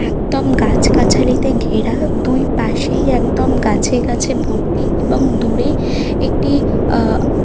একদম গাছ গাছালিতে ঘেরাদুই পাশেই একদম গাছে গাছে ভর্তি এবং দূরে একটি আহ --